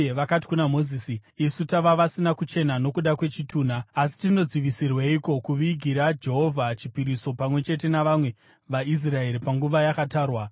vakati kuna Mozisi, “Isu tava vasina kuchena nokuda kwechitunha, asi tinodzivisirweiko kuvigira Jehovha chipiriso pamwe chete navamwe vaIsraeri panguva yakatarwa?”